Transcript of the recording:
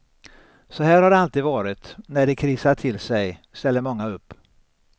Så här har det alltid varit, när det krisar till sig ställer många upp.